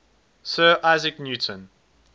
sir isaac newton